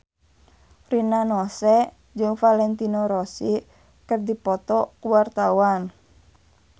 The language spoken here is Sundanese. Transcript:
Rina Nose jeung Valentino Rossi keur dipoto ku wartawan